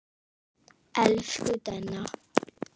Elsku Denna.